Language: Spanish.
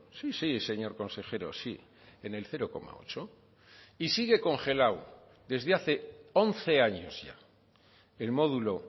sí sí señor consejero sí en el cero coma ocho y sigue congelado desde hace once años ya el módulo